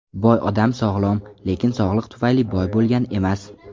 Boy odam sog‘lom, lekin sog‘liq tufayli boy bo‘lgan emas.